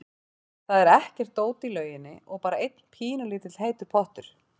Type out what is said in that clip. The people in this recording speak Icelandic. Það var ekkert dót í lauginni og bara einn pínulítill heitur pottur.